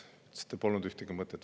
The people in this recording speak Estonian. Te ütlesite, et polnud ühtegi mõtet.